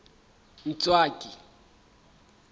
ntswaki